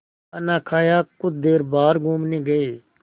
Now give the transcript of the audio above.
खाना खाया कुछ देर बाहर घूमने गए